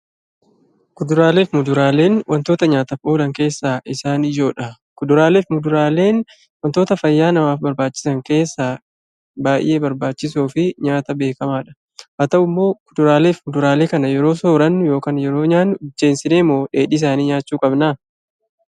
Kuduraalee fi muduraaleen wantoota nyaataaf oolan keessaa isaan ijoodha. Kuduraalee fi muduraaleen wantoota fayyaa namaaf barbaachisan keessaa baay'ee barbaachisoo fi nyaata beekamaadha. Haa ta'u malee, kuduraalee fi muduraalee kana yeroo nyaannu yookiin soorannu bilcheessineemoo dheedhii isaanii nyaachuu qabnaa?